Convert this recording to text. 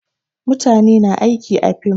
Mutane na aiki a fim